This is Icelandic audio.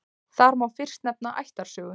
Þar má fyrst nefna ættarsögu.